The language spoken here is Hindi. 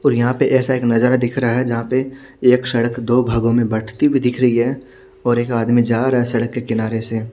और यहां पे ऐसा एक नजारा दिख रहा है जहां पे एक सड़क दो भागों में बंटती हुईं दिख रही है और एक आदमी जा रहा है सड़क के किनारे से।